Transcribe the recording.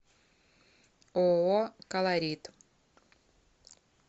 ооо колорит